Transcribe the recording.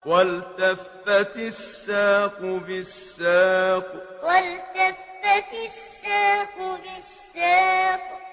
وَالْتَفَّتِ السَّاقُ بِالسَّاقِ وَالْتَفَّتِ السَّاقُ بِالسَّاقِ